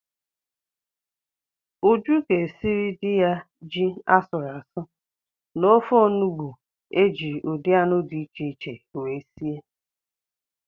Uju ga-esiri di ya ji asụrụ asụ na ofe onubu eji ụdị anụ di iche iche wee sie